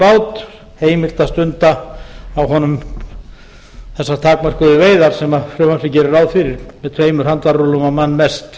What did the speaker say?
bát heimilt að stunda á honum þessar takmörkuðu veiðar sem frumvarpið gerir ráð fyrir með tveimur handarrúllum mest